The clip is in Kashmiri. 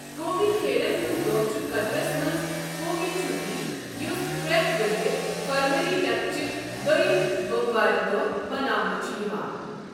قومی کھیلَن ہُند دۄہ چھُ قطرَس منٛز قومی چھُٹی، یُس پریتھ ؤرۍ یہ فروری ریتہ چہ د وٚیم بۄموارِ دۄہ مناونہٕ چھُ یِوان۔